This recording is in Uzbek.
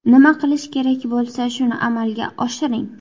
Nima qilish kerak bo‘lsa, shuni amalga oshiring.